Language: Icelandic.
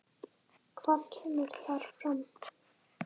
Hvað kemur þar fram?